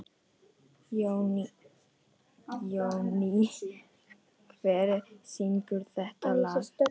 Jóný, hver syngur þetta lag?